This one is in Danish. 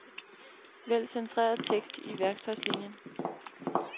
Vælg centreret tekst i værktøjslinien.